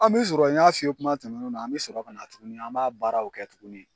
An bɛ sɔrɔ n y'a f'i ye kuma tɛmɛnenw na an bɛ sɔrɔ kana tuguni, an b'a baaraw kɛ tuguni.